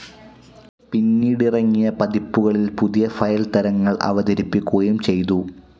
പിന്നീട് ഇറങ്ങിയ പതിപ്പുകളിൽ പുതിയ ഫയൽ തരങ്ങൾഅവതരിപ്പിക്കുകയും ചെയ്തു.